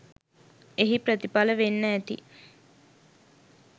එහි ප්‍රතිඵල වෙන්න ඇති